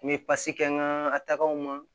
N bɛ kɛ n ka tagamaw ma